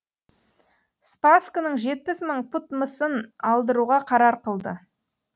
спасскінің жетпіс мың пұт мысын алдыруға қарар қылды